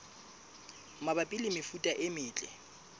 mabapi le mefuta e metle